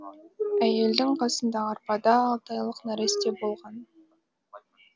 әйелдің қасындағы арбада алты айлық нәресте болған